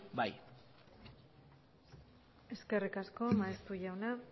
bai eskerrik asko maeztu jauna